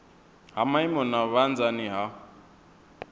ha maimo na vhunzani ha